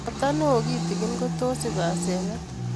Ropta neyoo kitigin ko tos ib asenet